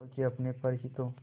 खो के अपने पर ही तो